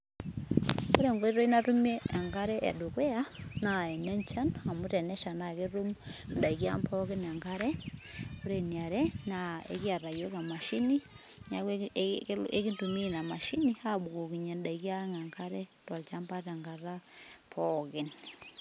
woore enkoitoi natumie enkare edukuya naa enenchan amu enesha naa ketum ndaiki ang' enkare woore eniare ekiata yiook emashini naa ekintumia inaa mashini abukokinyiee indaiki ang Enkare tenkata pookin